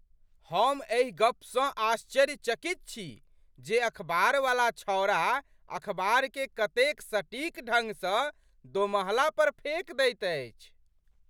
हम एहि गपसँ आश्चर्यचकित छी जे अखबारवला छौड़ा अखबार केँ कतेक सटीक ढंग सँ दोमहला पर फेक दैत अछि।